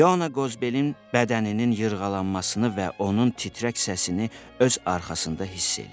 İona Qozbelin bədəninin yırğalanmasını və onun titrək səsini öz arxasında hiss eləyir.